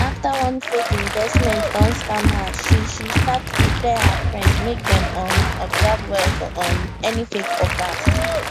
after one fake investment don scam her she she start to dey tell her friends make dem um observe well for um any fake offers